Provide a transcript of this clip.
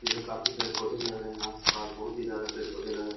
इधर काफी पेड़-पौधे लग रहे हैं। आस-पास बहोत ही ज्यादा पेड़-पौधे लग रहे हैं।